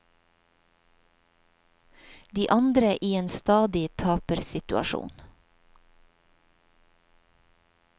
De andre i en stadig tapersituasjon.